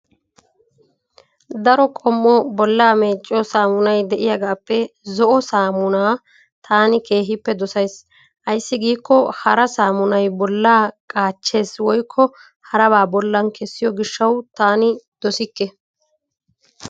Daro qommo bollaa meecettiyoo saamunnay de"iyaagaappe zo"o saammunaa taani keehippe dosays. Ayssi giikko hara saammunay bollaa qaachches woykko haraba bollan kessiyo gishshawu taani dosikke.